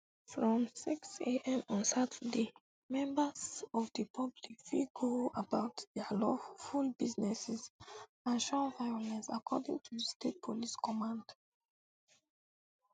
from sixam on saturday members um of di public fit go about dia lawful businesses and shun violence according to di state police command